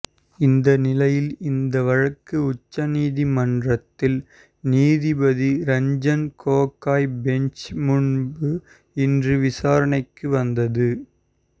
இந்த நிலையில் இந்த வழக்கு உச்சநீதிமன்றத்தில் நீதிபதி ரஞ்சன் கோகாய் பெஞ்ச் முன்பு இன்று விசாரணைக்கு வந்தது